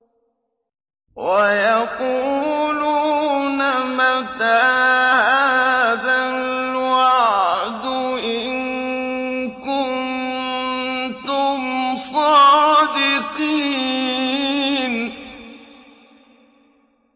وَيَقُولُونَ مَتَىٰ هَٰذَا الْوَعْدُ إِن كُنتُمْ صَادِقِينَ